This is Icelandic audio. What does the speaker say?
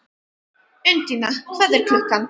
Undína, hvað er klukkan?